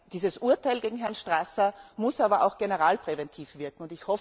Dieses Urteil gegen Herrn Strasser muss aber auch generalpräventiv wirken.